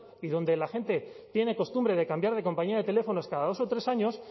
y donde la gente tiene costumbre de cambiar de compañía de teléfonos cada dos o tres años